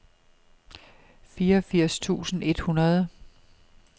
fireogfirs tusind et hundrede